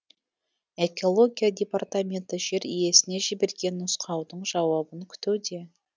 экология департаменті жер иесіне жіберген нұсқаудың жауабын күтуде